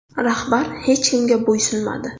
Rahbar hech kimga bo‘ysunmadi.